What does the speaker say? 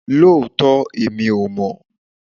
Lóòótọ́!! Èmi ò mọ̀